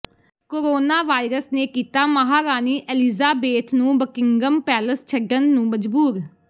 coronavirus ਨੇ ਕੀਤਾ ਮਹਾਰਾਣੀ ਐਲੀਜ਼ਾਬੇਥ ਨੂੰ ਬਕਿੰਘਮ ਪੈਲੇਸ ਛੱਡਣ ਨੂੰ ਮਜਬੂਰ